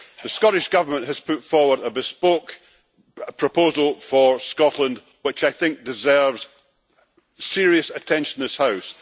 The Scottish Government has put forward a bespoke proposal for Scotland, which I think deserves serious attention in this House.